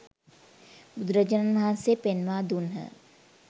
බුදුරජාණන් වහන්සේ පෙන්වා දුන්හ.